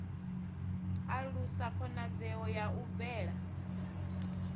alusa khonadzeo ya u bvela